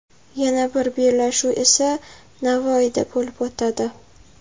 Yana bir bellashuv esa Navoiyda bo‘lib o‘tadi.